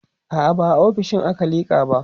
a'a ba a ofishinmu aka liƙa ba